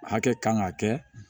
Hakɛ kan ka kɛ